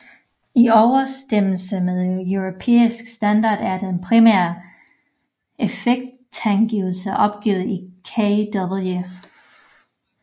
I overensstemmelse med europæisk standard er den primære effektangivelse opgivet i kW